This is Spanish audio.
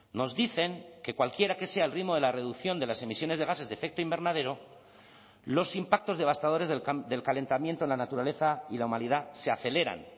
nos dicen que cualquiera que sea el ritmo de la reducción de las emisiones de gases de efecto invernadero los impactos devastadores del calentamiento en la naturaleza y la humanidad se aceleran